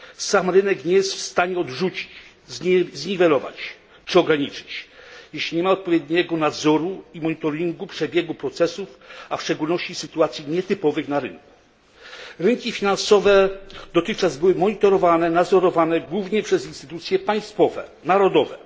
Sam rynek nie jest w stanie ich odrzucić, zniwelować czy ograniczyć, jeśli nie ma odpowiedniego nadzoru i monitoringu przebiegu procesów, a w szczególności w sytuacjach nietypowych na rynku. Dotychczas rynki finansowe były monitorowane i nadzorowane głównie przez instytucje państwowe, narodowe.